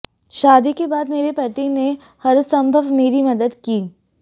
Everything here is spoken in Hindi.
शादी के बाद मेरे पति ने हरसंभव मेरी मदद की